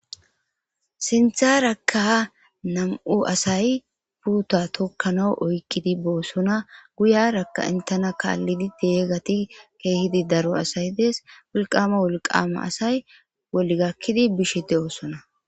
sintharakka nam7u asay puuta tokkana oykkidi boossona guyarakka intena kaallidi deegati keehidi daro asay dees wulqama wolqama asay bolli gakkidi bishe de oosona